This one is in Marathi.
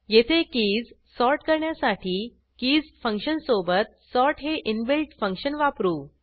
येथे कीज सॉर्ट करण्यासाठी कीज फंक्शनसोबत सॉर्ट हे इनबिल्ट फंक्शन वापरू